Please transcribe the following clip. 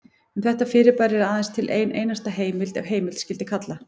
Um þetta fyrirbæri er aðeins til ein einasta heimild ef heimild skyldi kalla.